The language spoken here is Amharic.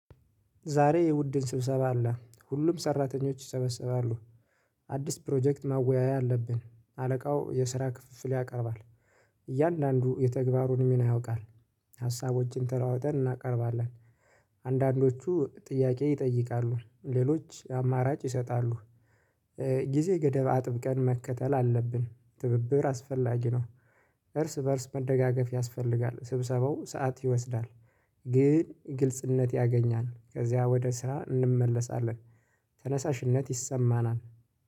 ዛሬ የቡድን ስብሰባ አለ ሁሉም ሰራተኞች ይሰበሰባሉ። አዲስ ፕሮጀክት ማወያያ አለብን አለቃው የስራ ክፍል ያቀርባል። እያንዳንዱ የተግባሩን ሚና ያውቃል ሀሳቦችን ተለዋውጠን እናቀርባለን። አንዳንዶቹ ጥያቄ ይጠይቃሉ ሌሎች አማራጭ ይሰጣሉ። ጊዜ ገደብ አጥብቀን መከተል አለብን ትብብር አስፈላጊ ነው። እርስ በእርስ መደጋገፍ ያስፈልጋል ስብሰባው ሰዓት ይወስዳል። ግን ግልጽነት ያገኛል ከዚያ ወደ ስራ እንመለሳለን። ተነሳሽነት ይሰማናል